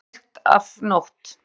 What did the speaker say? Og enn nær myrkt af nótt.